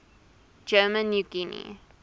german new guinea